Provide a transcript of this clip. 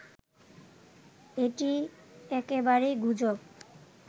এটি একেবারেই গুজব